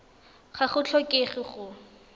ga go tlhokege gore o